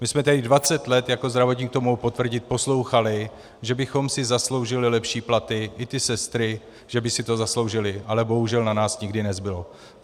My jsme tady 20 let, jako zdravotník to mohu potvrdit, poslouchali, že bychom si zasloužili lepší platy, i ty sestry že by si to zasloužily, ale bohužel na nás nikdy nezbylo.